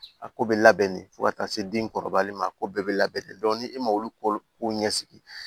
A ko bɛ labɛn de fo ka taa se den kɔrɔbalen ma a ko bɛɛ bɛ labɛn ni e ma olu ko ɲɛsigi